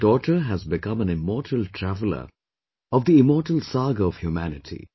Your daughter has become an immortal traveler of the immortal saga of humanity